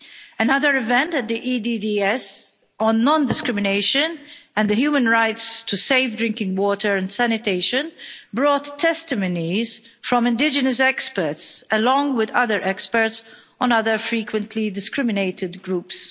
Another event at the EDDS on non discrimination and the human rights to safe drinking water and sanitation brought testimonies from indigenous experts, along with other experts on other frequently discriminated groups.